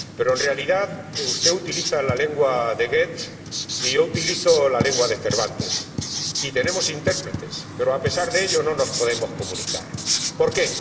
En realidad, usted utiliza la lengua de Goethe y yo utilizo la lengua de Cervantes, y tenemos intérpretes, pero, a pesar de ello, no nos podemos comunicar. ¿Por qué?